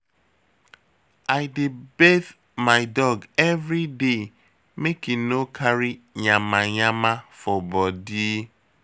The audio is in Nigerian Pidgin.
I dey bath my dog every day make e no carry yamayama for bodi.